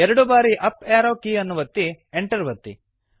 ಎರಡು ಬಾರಿ up arrow ಕೀಯನ್ನು ಒತ್ತಿ Enter ಒತ್ತಿ